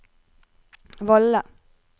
Valle